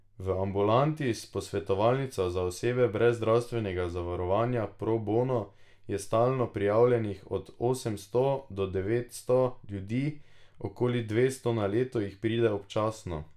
V ambulanti s posvetovalnico za osebe brez zdravstvenega zavarovanja Pro bono je stalno prijavljenih od osemsto do devetsto ljudi, okoli dvesto na leto jih pride občasno.